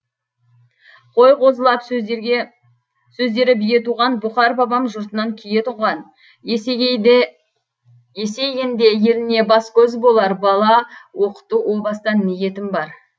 қой қозылап сөздері бие туған бұқар бабам жұртынан кие тұнған есейгенде еліне бас көз болар бала оқыту о бастан ниетім бар